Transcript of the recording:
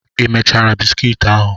Ị mechachara bisikiiti ahụ?